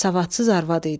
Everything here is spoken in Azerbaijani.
Savadsız arvad idim.